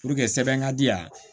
Puruke sɛbɛn ka di yan